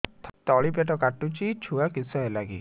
ତଳିପେଟ କାଟୁଚି ଛୁଆ କିଶ ହେଲା କି